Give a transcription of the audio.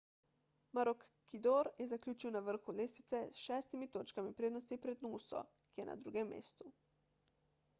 maroochydore je zaključil na vrhu lestvice s šestimi točkami prednosti pred nooso ki je na drugem mestu